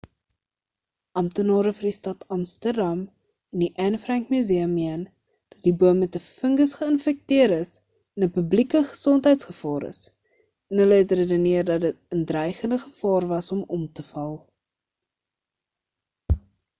amptenare vir die stad amsterdam en die anne frank museum meen dat die boom met 'n fungus geïnfekteer is en 'n publieke gesondheidsgevaar is en hulle het redeneer dat dit in dreigende gevaar was om om te val